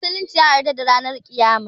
Musulunci ya yarda da ranan kiyama